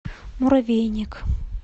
муравейник